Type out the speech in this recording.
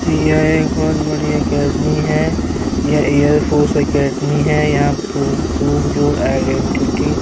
ییہ ہے ایک بہت بڑی اکیڈمی ہے یہ ہے ایئر فورس اکیڈمی ہے یہاں دور دور ائیڈنٹٹی